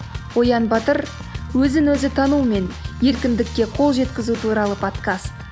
оян батыр өзін өзі тану мен еркіндікке қол жеткізу туралы подкаст